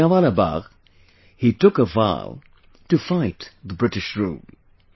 At Jallianwala Bagh, he took a vow to fight the British rule